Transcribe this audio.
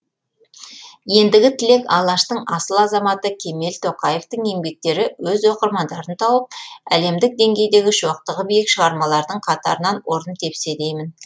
ендігі тілек алаштың асыл азаматы кемел тоқаевтың еңбектері өз оқырмандарын тауып әлемдік деңгейдегі шоқтығы биік шығармалардың қатарынан орын тепсе деймін